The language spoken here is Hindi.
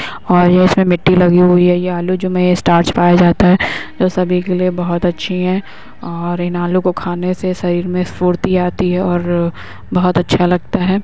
और ये इसमें मिट्टी लगी हुई है। ये आलू जो में स्टार्च पाया जाता है जो सभी के लिए बहोत अच्छी है और इन आलू खाने से शरीर में फुर्ती आती है और बहोत अच्छा लगता है।